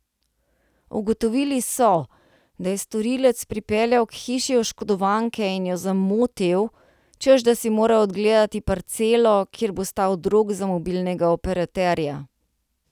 Ugotovili so, da je storilec pripeljal k hiši oškodovanke in jo zamotil, češ da si mora ogledati parcelo, kjer bo stal drog za mobilnega operaterja.